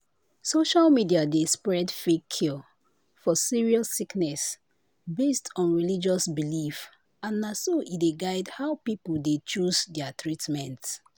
social media dey spread fake cure for serious sickness based on religious teaching and na so e dey guide how people dey choose their treatment."